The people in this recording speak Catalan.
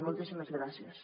moltíssimes gràcies